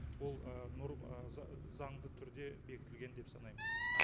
ол заңды түрде бекітілген деп санаймыз